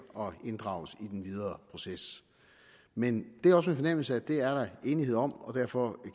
og inddrages i den videre proces men det er også min fornemmelse at det er der enighed om og derfor